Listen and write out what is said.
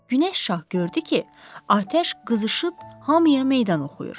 Günəş şah gördü ki, atəş qızışıb hamıya meydan oxuyur.